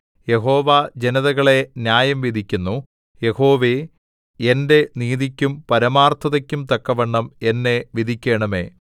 യഹോവ ജനതകളെ ന്യായം വിധിക്കുന്നു യഹോവേ എന്റെ നീതിക്കും പരമാർത്ഥതയ്ക്കും തക്കവണ്ണം എന്നെ വിധിക്കണമേ